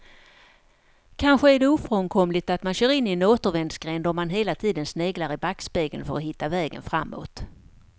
Kanske är det ofrånkomligt att man kör in i en återvändsgränd om man hela tiden sneglar i backspegeln för att hitta vägen framåt.